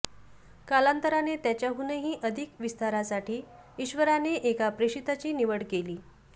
कालांतराने त्याच्याहूनही अधिक विस्तारासाठी ईश्वराने एका प्रेषिताची निवड केली